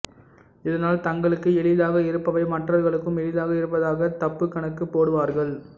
இதனால் தங்களுக்கு எளிதாக இருப்பவை மற்றவர்களுக்கும் எளிதாக இருப்பதாக தப்புக்கணக்கு போடுவார்கள்